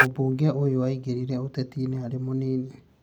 Mũmbunge ũyũ aingĩrire ũtetinĩ arĩ mũnini